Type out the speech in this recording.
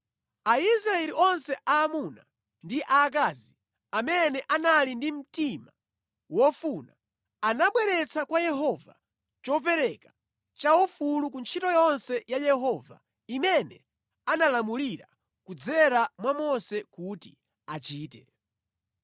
Aisraeli onse aamuna ndi aakazi amene anali ndi mtima wofuna, anabweretsa kwa Yehova chopereka chaufulu ku ntchito yonse ya Yehova imene analamulira kudzera mwa Mose kuti achite.